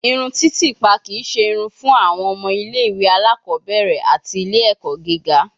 Irun titipa kii ṣe irun fun awọn ọmọ ile-iwe alakọbẹrẹ ati ile-ẹkọ giga